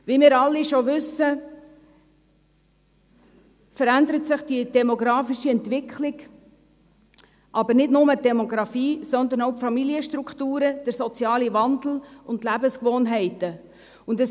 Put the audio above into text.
Wie wir alle wissen, verändert sich die demografische Struktur, aber nicht nur die Demografie, sondern auch die Familienstrukturen und die Lebensgewohnheiten ändern sich, und es findet ein sozialer Wandel statt.